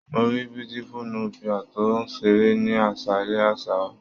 Mo ríi Beautiful Nubia to ṣeré ní aṣalẹ̀ àṣà wá.